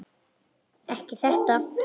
Ekki þetta.